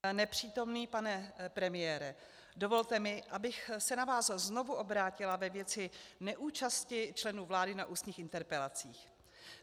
Nepřítomný pane premiére, dovolte mi, abych se na vás znovu obrátila ve věci neúčasti členů vlády na ústních interpelacích.